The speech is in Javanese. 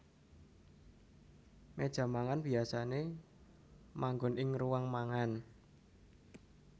Méja mangan biyasané manggon ing ruang mangan